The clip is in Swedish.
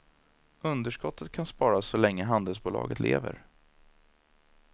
Underskottet kan sparas så länge handelsbolaget lever.